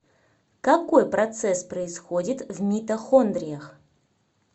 какой процесс происходит в митохондриях